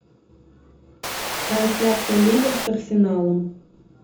трансляция ливер с арсеналом